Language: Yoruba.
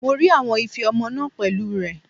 Mo rí àwọn ife ọmọ náà pẹ̀lú rẹ̀.